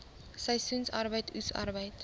seisoensarbeid oes arbeid